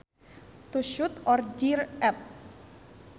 To shout or jeer at